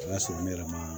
O y'a sɔrɔ ne yɛrɛ ma